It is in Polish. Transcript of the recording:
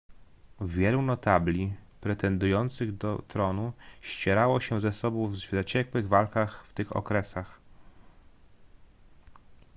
wielu notabli pretendujących do tronu ścierało się ze sobą w zaciekłych walkach w tych okresach